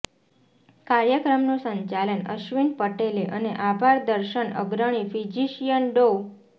કાર્યક્રમનું સંચાલન અશ્વિન પટેલે અને આભાર દર્શન અગ્રણી ફીજીશીયન ડો